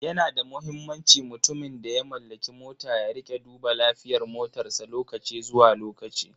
Yana da muhimmanci mutumin da ya mallaki mota ya rika duba lafiyar motarsa lokaci zuwa lokaci.